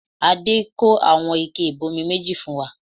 Adé kó àwọn ike ibomi méjì fún wa